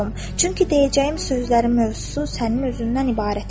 Çünki deyəcəyim sözlərin mövzusu sənin özündən ibarət idi.